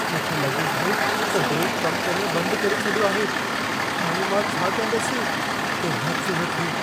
मूंखे लॻे थो त ब्रेक कमु करणु बंदि करे छॾियो आहे। हाणे मां छा कंदसि? को हादिसो न थिए।